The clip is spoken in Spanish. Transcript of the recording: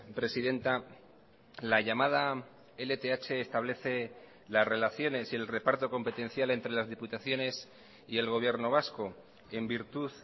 presidenta la llamada lth establece las relaciones y el reparto competencial entre las diputaciones y el gobierno vasco en virtud